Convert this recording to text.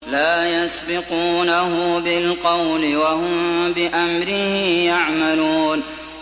لَا يَسْبِقُونَهُ بِالْقَوْلِ وَهُم بِأَمْرِهِ يَعْمَلُونَ